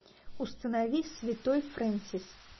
установи святой фрэнсис